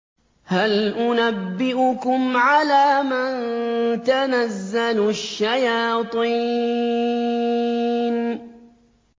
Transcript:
هَلْ أُنَبِّئُكُمْ عَلَىٰ مَن تَنَزَّلُ الشَّيَاطِينُ